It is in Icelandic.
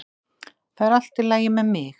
Það er allt í lagi með mig.